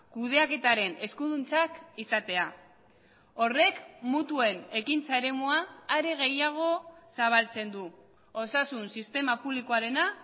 kudeaketaren eskuduntzak izatea horrek mutuen ekintza eremua are gehiago zabaltzen du osasun sistema publikoarena